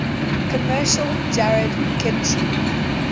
commercial jarred kimchi